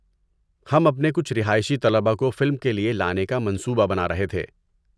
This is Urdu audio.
ہم اپنے کچھ رہائشی طلباء کو فلم کے لیے لانے کا منصوبہ بنا رہے تھے۔